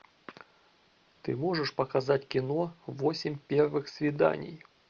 ты можешь показать кино восемь первых свиданий